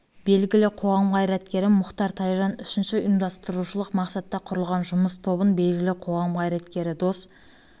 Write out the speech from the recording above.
белгілі қоғам қайраткері мұхтар тайжан үшінші ұйымдастырушылық мақсатта құрылған жұмыс тобын белгілі қоғам қайраткері дос